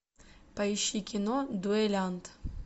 поищи кино дуэлянт